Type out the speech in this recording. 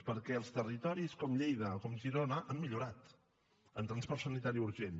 perquè els territoris com lleida o com girona han millorat en transport sanitari urgent